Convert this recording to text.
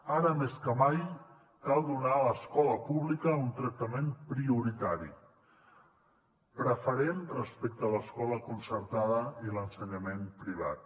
ara més que mai cal donar a l’escola pública un tractament prioritari preferent respecte a l’escola concertada i l’ensenyament privat